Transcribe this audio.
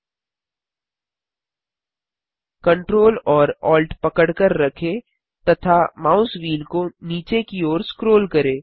ctrl और alt पकड़कर रखें तथा माउस व्हील को नीचे की ओर स्क्रोल करें